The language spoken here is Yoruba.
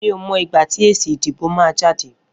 Mi ó mọ igbá ti ésí idibó mà jàdé